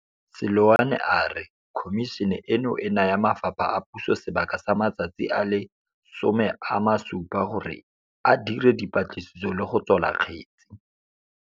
Seloane a re Khomišene eno e naya mafapha a puso sebaka sa matsatsi a le 60 gore a dire dipatliso le go tswala kgetse.